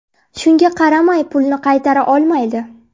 Shunga qaramay pulni qaytara olmaydi.